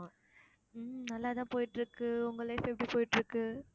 உம் நல்லா தான் போயிட்டிருக்கு உங்க life எப்படி போயிட்டிருக்கு